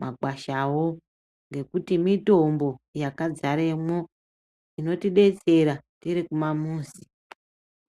makwashawo, ngekuti mitombo yakadzaremo, inotidetsera tirikumamuzi.